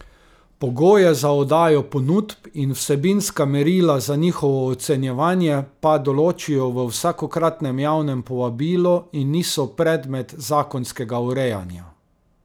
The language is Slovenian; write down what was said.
Pogoje za oddajo ponudb in vsebinska merila za njihovo ocenjevanje pa določijo v vsakokratnem javnem povabilu in niso predmet zakonskega urejanja.